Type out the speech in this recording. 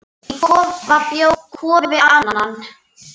Í kofa bjó Kofi Annan.